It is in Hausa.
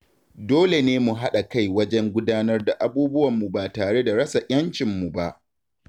Dole ne mu haɗa-kai wajen gudanar da abubuwanmu ba tare da rasa 'yancinmu ba.